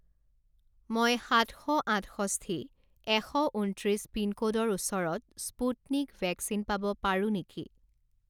মই সাত শ আঠষষ্ঠি এশ ঊনত্ৰিছ পিনক'ডৰ ওচৰত স্পুটনিক ভেকচিন পাব পাৰোঁ নেকি?